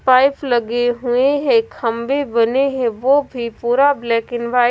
pipe लगे हुए हैं खंबे बने हैं वो भी पूरा ब्लैक एंड वाइट --